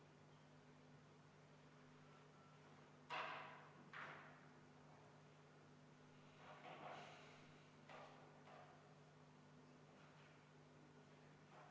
Kas Riigikogu liikmetel on hääletamise läbiviimise kohta proteste?